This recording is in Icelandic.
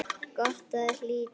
Gott að hlíta hans ráðum.